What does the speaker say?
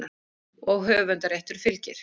Og höfundarréttur fylgir.